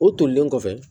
O tolilen kɔfɛ